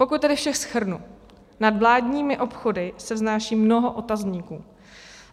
Pokud tedy vše shrnu, nad vládními obchody se vznáší mnoho otazníků.